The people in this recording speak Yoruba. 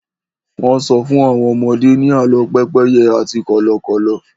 wón so fún àwọn ọmọdé ni àlọ pépéye àti Kọ́lọ́kọ́l